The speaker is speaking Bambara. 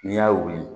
N'i y'a wugu